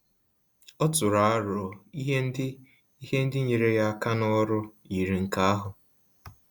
Ọ tụrụ arọ ihe ndị ihe ndị nyere ya aka ná ọrụ yiri nke ahu